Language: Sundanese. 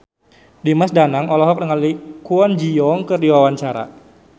Dimas Danang olohok ningali Kwon Ji Yong keur diwawancara